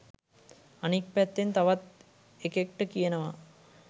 අනිත් පැත්තෙන් තවත් එකෙක්ට කියනවා